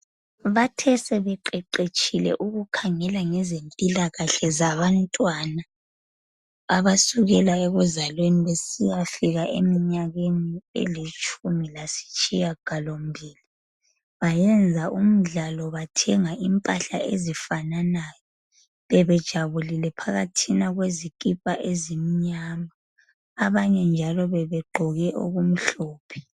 Bathe sebeqeqetshile ukakhangela ngezempilakahle zabantwana abasukela ekuzalweni besiyafika eminyakeni elitshumi lasitshiyagalombili bayenza umdlalo bathenga impahla ezifananayo. Bebejabulile phakathina kwezikhipa ezimnyama. Abanye njalo bebegqoke okumhlophe.